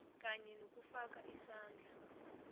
kanye nokufaka isandla